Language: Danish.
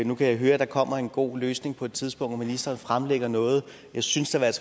nu kan jeg høre at der kommer en god løsning på et tidspunkt når ministeren fremlægger noget jeg synes i hvert